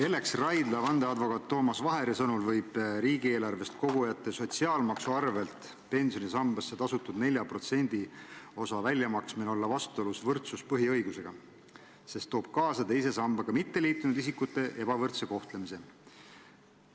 Ellex Raidla vandeadvokaadi Toomas Vaheri sõnul võib riigieelarvest kogujate sotsiaalmaksu arvelt pensionisambasse tasutud 4%-lise osa väljamaksmine olla vastuolus võrdsuspõhiõigusega, sest toob kaasa teise sambaga mitteliitunud isikute ebavõrdse kohtlemise.